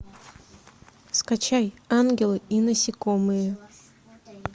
скачай ангелы и насекомые